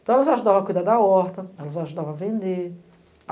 Então elas ajudavam a cuidar da horta, elas ajudavam a vender.